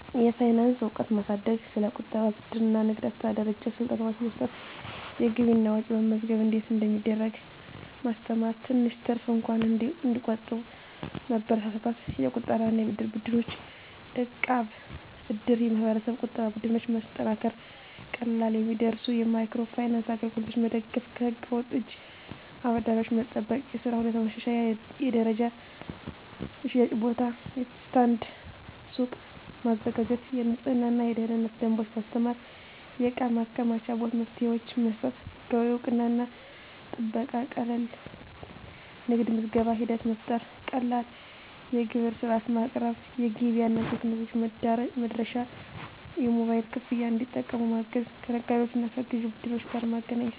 የፋይናንስ እውቀት ማሳደግ ስለ ቁጠባ፣ ብድር እና ንግድ አስተዳደር አጭር ስልጠናዎች መስጠት የገቢና ወጪ መመዝገብ እንዴት እንደሚደረግ ማስተማር ትንሽ ትርፍ እንኳን እንዲቆጠብ መበረታታት የቁጠባና የብድር ቡድኖች (እቃብ/እድር ) የማህበረሰብ ቁጠባ ቡድኖች ማጠናከር ቀላል የሚደርሱ የማይክሮ ፋይናንስ አገልግሎቶች መደገፍ ከህገ-ወጥ እጅ አበዳሪዎች መጠበቅ የሥራ ሁኔታ ማሻሻል የተደራጀ የሽያጭ ቦታ (ስታንድ/ሱቅ) ማዘጋጀት የንፅህናና የደህንነት ደንቦች ማስተማር የእቃ ማከማቻ መፍትሄዎች መስጠት ህጋዊ እውቅናና ጥበቃ ቀላል የንግድ ምዝገባ ሂደት መፍጠር ቀላል የግብር ሥርዓት ማቅረብ ገበያ እና ቴክኖሎጂ መድረሻ የሞባይል ክፍያ እንዲጠቀሙ ማገዝ ከነጋዴዎችና ከግዥ ቡድኖች ጋር ማገናኘት